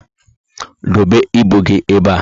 Dobe ibu gị ébé a